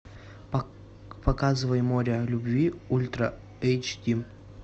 показывай море любви ультра эйч ди